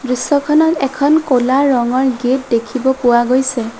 দৃশ্যখনত এখন ক'লা ৰঙৰ গেট দেখিব পোৱা গৈছে।